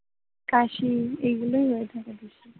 কাশি এগুলো হয়ে থাকে বেশি,